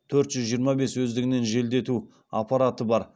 төрт жүз жиырма бес өздігінен желдету аппараты бар